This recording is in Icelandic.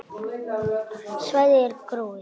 Svæðið er gróið.